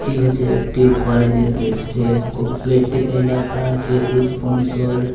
এটি হচ্ছে একটি কলেজের গেট | সে গেট টিতে লেখা আছে এস্পনসর --